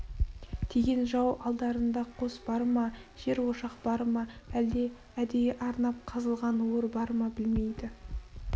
тиген жау алдарында қос бар ма жер ошақ бар ма әлде әдейі арнап қазылған ор бар ма білмейді